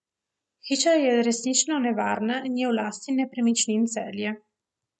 Hiša je resnično nevarna in je v lasti Nepremičnin Celje.